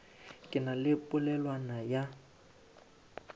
ke na le polelwana ya